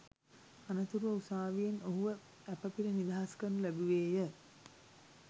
අනතුරුව උසාවියෙන් ඔහුව ඇපපිට නිදහස්‌ කරනු ලැබුවේය